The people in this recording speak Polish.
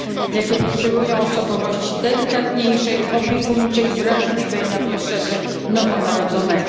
gdyż te potrzebują osobowości delikatniejszej, opiekuńczej i wrażliwej na potrzeby nowonarodzonego.